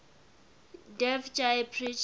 dev ji preached